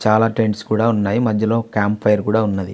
చాలా టెంట్స్ ఉన్నాయి. మధ్యలో క్యాంపు ఫైర్ కూడా ఉంది.